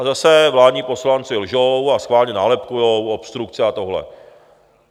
A zase, vládní poslanci lžou a schválně nálepkujou, obstrukce a tohle.